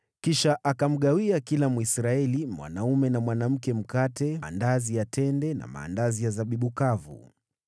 Kisha akamgawia kila Mwisraeli mwanaume na mwanamke mkate, andazi la tende na andazi la zabibu kavu.